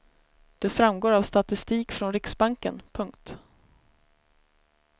Det framgår av statistik från riksbanken. punkt